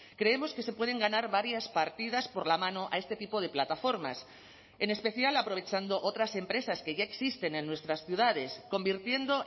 creemos que se pueden ganar varias partidas por la mano a este tipo de plataformas en especial aprovechando otras empresas que ya existen en nuestras ciudades convirtiendo